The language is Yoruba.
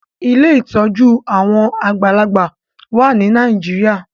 Ilé ìtọjú àwọn àgbàlagbà wá ní Nàìjíríà